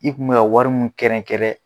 I kun mɛ ka wari min kɛrɛn kɛrɛn